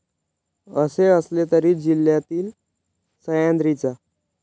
असे असले तरी जिल्हातील सह्याद्रीच्या.